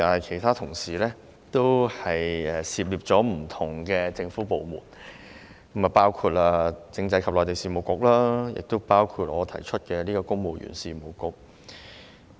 其他同事的修正案涉獵不同政府部門，包括政制及內地事務局及我所提修正案關乎的公務員事務局等。